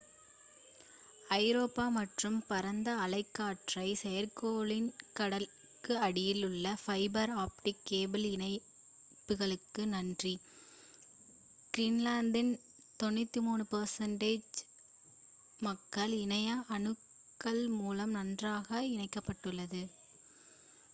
ஐரோப்பா மற்றும் பரந்த அலைக்கற்றை செயற்கைக்கோளின் கடலுக்கு அடியில் உள்ள ஃபைபர் ஆப்டிக் கேபிள் இணைப்புகளுக்கு நன்றி கிரீன்லாந்தின் 93% மக்கள் இணைய அணுகல் மூலம் நன்றாக இணைக்கப்பட்டுள்ளனர்